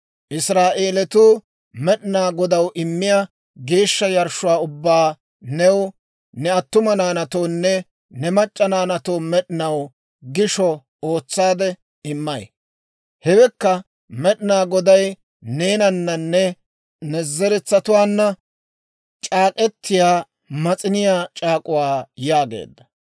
Israa'eelatuu Med'inaa Godaw immiyaa geeshsha yarshshuwaa ubbaa new, ne attuma naanatoonne ne mac'c'a naanaatoo med'inaw gishsha ootsaade immay. Hawekka Med'inaa Goday neenananne ne zeretsatuwaanna c'aak'k'etiyaa Mas'iniyaa c'aak'uwaa» yaageedda.